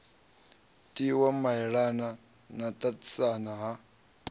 tiwa maelana na ṱaṱisana ha